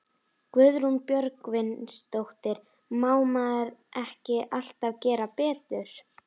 Guðrún Björgvinsdóttir: Má maður ekki alltaf gera betur?